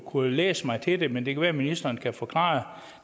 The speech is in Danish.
kunnet læse mig til det men det kan være at ministeren kan forklare